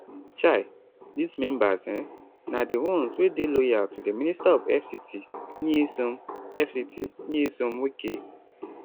um dis members um na di ones wey dey loyal to di minister of fct nyesom fct nyesom wike